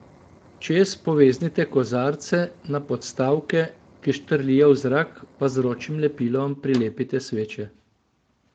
Čez poveznite kozarce, na podstavke, ki štrlijo v zrak, pa z vročim lepilom prilepite sveče.